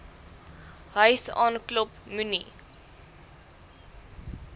huis aanklop moenie